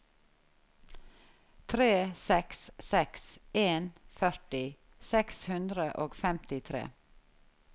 tre seks seks en førti seks hundre og femtitre